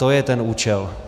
To je ten účel.